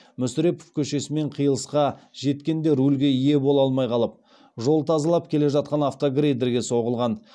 мүсірепов кешесімен қиылысқа жеткенде рульге ие бола алмай қалып жол тазалап келе жатқан автогрейдерге соғылған